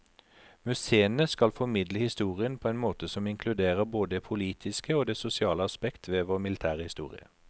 Museene skal formidle historien på en måte som inkluderer både det politiske og det sosiale aspekt ved vår militære historie.